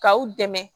K'aw dɛmɛ